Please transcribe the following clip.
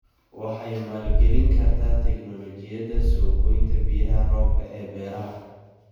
Waxay maalgelin kartaa tignoolajiyada soo goynta biyaha roobka ee beeraha.